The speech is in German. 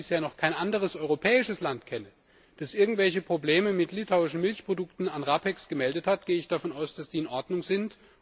Und da ich bisher noch kein anderes europäisches Land kenne, das irgendwelche Probleme mit litauischen Milchprodukten an RAPEX gemeldet hat, gehe ich davon aus, dass die in Ordnung sind.